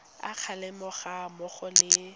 a kgalemo ga mmogo le